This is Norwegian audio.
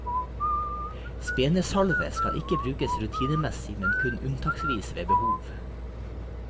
Spenesalve skal ikke brukes rutinemessig men kun unntaksvis ved behov.